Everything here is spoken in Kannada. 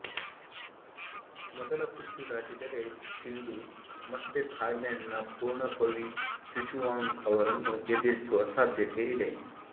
ಮೊದಲ ಸುತ್ತು ದಾಟಿದರೆ ಸಿಂಧು ಮತ್ತೆ ಥಾಯ್ಲೆಂಡ್ನ ಪೊರ್ಣಪವೀ ಚುಚುವಾಂಗ್ ಅವರನ್ನು ಎದುರಿಸುವ ಸಾಧ್ಯತೆ ಇದೆ